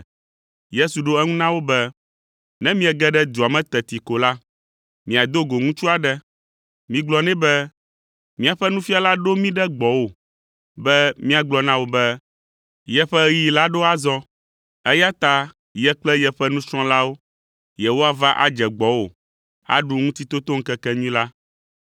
Yesu ɖo eŋu na wo be, “Ne miege ɖe dua me teti ko la, miado go ŋutsu aɖe. Migblɔ nɛ be, ‘Míaƒe Nufiala ɖo mí ɖe gbɔwò be míagblɔ na wò be yeƒe ɣeyiɣi la ɖo azɔ, eya ta ye kple yeƒe nusrɔ̃lawo yewoava adze gbɔwò aɖu Ŋutitotoŋkekenyui la.’ ”